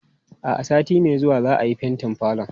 A'a, sati mai zuwa za'a yi fentin falon.